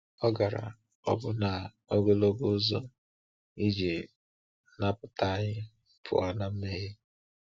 Ọ gara ọbụna ogologo ụzọ iji napụta anyị pụọ na mmehie.